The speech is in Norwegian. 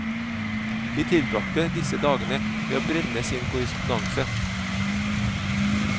De tilbragte disse dagene med å brenne sin korrespondanse.